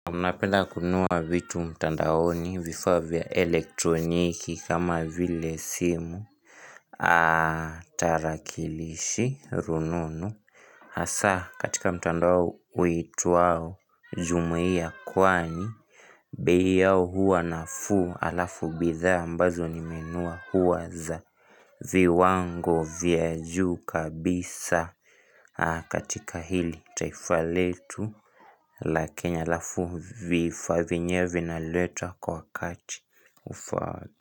Munapeda kununua vitu mtandaoni vifavya elektroniki kama vile simu Aaaah tarakilishi rununu hasa katika mtandao uituau jumuia kwani bei yao huwa nafuu alafu bidha ambazo nimenunua huwa za viwango vya juu kabisa katika hili taifa letu la Kenya alafu vifaa vyenyewe vina latwa kwa wakati ufaa.